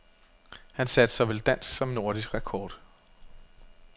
Han satte såvel dansk som nordisk rekord.